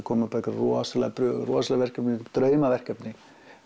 koma upp einhverjar rosa prufur og rosaleg verkefni draumaverkefni